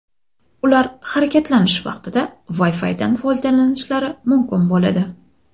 Ular harakatlanish vaqtida Wi-Fi’dan foydalanishlari mumkin bo‘ladi.